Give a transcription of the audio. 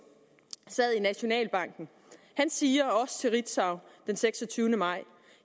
sad i nationalbanken han siger også til ritzau den seksogtyvende maj